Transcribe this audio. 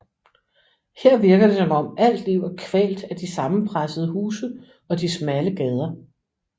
Her virker det som om alt livet er kvalt af de sammenpressede huse og de smalle gader